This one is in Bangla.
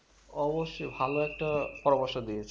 অবশ্যই ভালো একটা পরামর্শ দিয়েছো